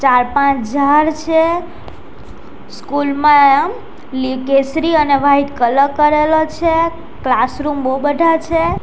ચાર પાંચ ઝાડ છે સ્કૂલ માં લી કેસરી અને વાઈટ કલર કરેલો છે ક્લાસરૂમ બહુ બધા છે.